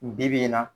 Bibi in na